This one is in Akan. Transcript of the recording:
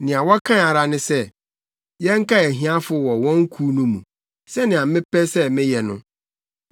Nea wɔkae ara ne sɛ yɛnkae ahiafo wɔ wɔn kuw no mu sɛnea mepɛ sɛ meyɛ no.